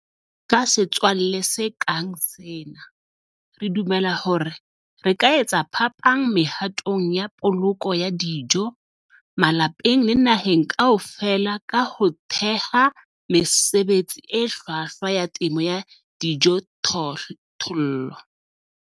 Ka setswalle se kang sena, re dumela hore re ka etsa phapang mehatong ya poloko ya dijo malapeng le naheng kaofela ka ho theha mesebetsi e hlwahlwa ya temo ya dijothollo.